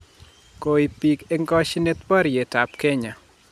koib biik eng koshinet boriyet ab kenya